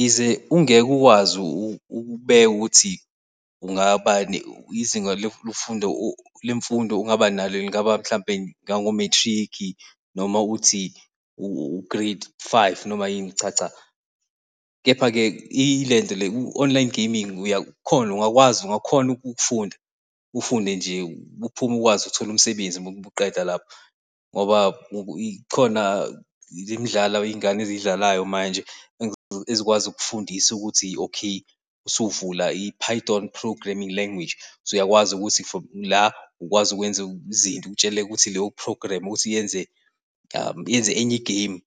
Yize ungeke ukwazi ukubeka ukuthi kungaba izinga lemfundo lemfundo ongaba nalo engaba mhlawumbe u-matric, noma uthi u-grade five noma yini, cha, cha. Kepha-ke ilento le u-online gaming uyakhona ungakwazi, ungakhona ukufunda, ufunde nje uphume, ukwazi ukuthola umsebenzi umuqeda lapho. Ngoba khona le midlalo izingane ezidlalayo manje ezikwazi ukufundiswa ukuthi okay, usuvula i-python programming language usuyakwazi ukuthi from la, ukwazi ukwenza izinto utshele ukuthi leyo programme ukuthi yenze yenze enye igemu ,